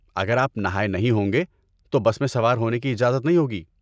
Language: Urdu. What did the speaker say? اگر آپ نہائے نہیں ہوں گے تو بس میں سوار ہونے کی اجازت نہیں ہوگی۔